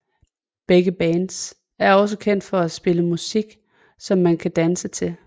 Begge bands er også kendt for at spille musik som man kan danse til